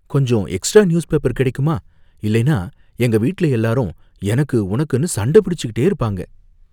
கொஞ்சம் extra newspaper கிடைக்குமா? இல்லைனா எங்க வீட்ல எல்லாரும் எனக்கு உனக்குனு சண்டை பிடிச்சுக்கிட்டே இருப்பாங்க.